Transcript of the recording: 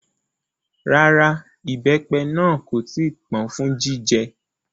Rárá, ìbẹ́pẹ náà kò tí ì pọ́n fún jíjẹ